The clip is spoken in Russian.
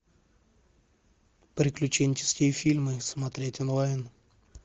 приключенческие фильмы смотреть онлайн